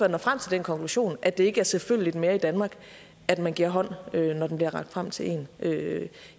når frem til den konklusion at det ikke er selvfølgeligt mere i danmark at man giver hånd når den bliver rakt frem til en